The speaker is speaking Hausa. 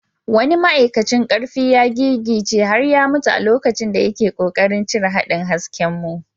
Wani ma’aikacin karfi ya gigice har ya mutu a lokacin da yake kokarin cire haɗin haskenmu.